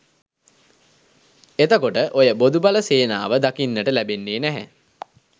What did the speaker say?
එතකොට ඔය බොදුබල සේනාව දකින්නට ලැබෙන්නේ නැහැ